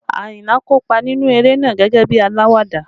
Ayinla kópa nínú eré náà gẹ́gẹ́ bí alawada